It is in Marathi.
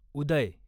उदय